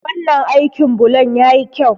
Wannan aikin bulon ya yi kyau.